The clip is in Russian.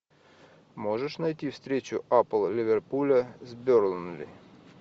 можешь найти встречу апл ливерпуля с бернли